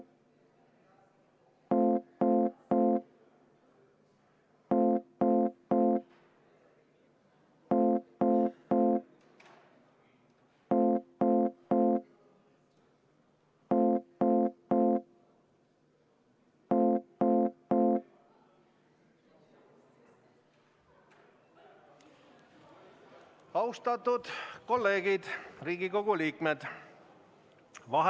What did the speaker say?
Austatud kolleegid, Riigikogu liikmed!